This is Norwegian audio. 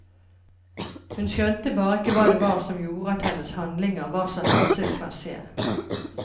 Hun skjønte bare ikke hva det var som gjorde at hennes handlinger var så hensiktsmessige.